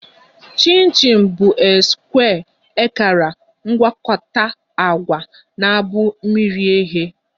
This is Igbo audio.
Chin chin bụ a square ekara mgwakota agwa na bụ miri eghe